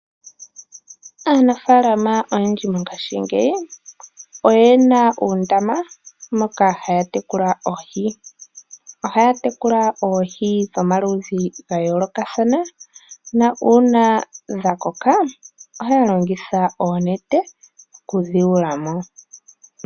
Aanafaalama oyendji mongashingeyi oye na oondama moka haya tekula oohi. Oha ya tekula oohi dhomaludhi ga yoolokathana nuuna dhakoka oha ya longitha oonete oku dhi yula mo.